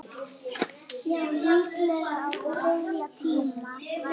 Já, líklega á þriðja tíma.